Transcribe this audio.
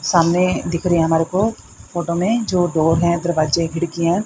सामने दिख रहे हमारे को फोटो में जो डोर दरवाजे खिड़कियां--